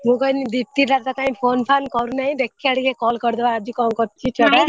ମୁଁ କହିନି କଣ ଦୀପ୍ତି ଟା ତ କାଇଁ phone phane କରୁନାଇଁ ଦେଖିବା ଟିକେ call ଆଜି କରୁଛି ଛୁଆ ଟା।